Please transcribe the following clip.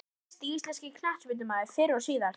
Henry Besti íslenski knattspyrnumaðurinn fyrr og síðar?